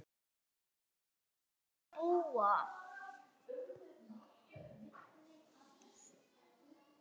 En hvar ætlarðu að búa?